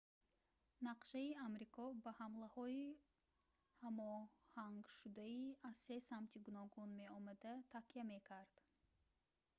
нақшаи амрико ба ҳамлаҳои ҳамоҳангшудаи аз се самти гуногун меомада такя мекард